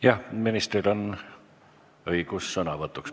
Jah, ministril on õigus sõnavõtuks.